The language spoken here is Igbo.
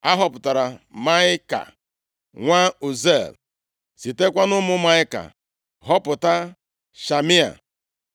A họpụtara Maịka nwa Uziel, sitekwa nʼụmụ Maịka họpụta Shamia.